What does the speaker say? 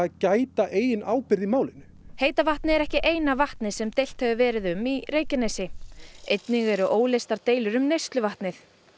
gæta eigin ábyrgðar í málinu heita vatnið er ekki eina vatnið sem deilt hefur verið um í Reykjanesi einnig eru óleystar deilur um neysluvatnið